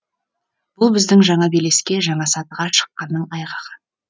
бұл біздің жаңа белеске жаңа сатыға шыққанның айғағы